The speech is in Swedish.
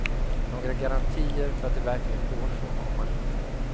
Några garantier för att det verkligen går så har man inte.